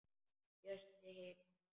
Bjössi hikar.